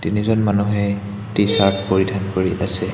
তিনিজন মানুহে টি-চাৰ্ট পৰিধান কৰি আছে।